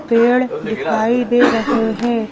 पेड़ दिखाई दे रहे हैं।